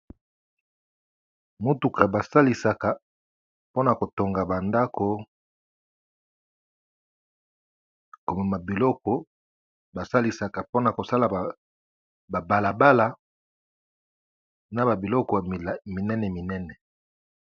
Mutuka basalisaka pona kotonga ba ndako pona kosala balabala na ba biloko minene minene.